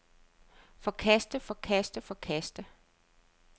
forkaste forkaste forkaste